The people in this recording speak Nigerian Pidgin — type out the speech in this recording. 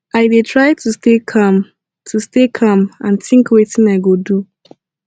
i dey try to stay calm to stay calm and think wetin i go do